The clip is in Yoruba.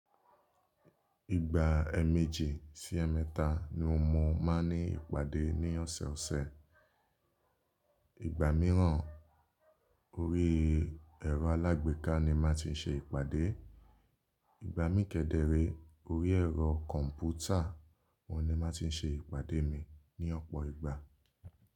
Ìgbà ẹẹmejì sí ẹẹmẹta ni mo máa ń ní ìpàdé ní ọ̀sọ̀ọ̀sẹ̀. Mìíràn, orí ẹ̀rọ alágbèéká ni mo màá ti ń ṣe ìpàdé. Ìgbà mii kédere, orí ẹ̀rọ kọ̀m̀pútà ọ́un ni mo màá ti ń ṣe ìpàdé mi ní ọ̀pọ̀ ìgbà.